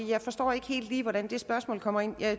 jeg forstår ikke helt hvor det spørgsmål kommer ind